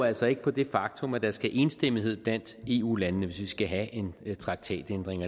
altså ikke på det faktum at der skal være enstemmighed blandt eu landene hvis vi skal have en traktatændring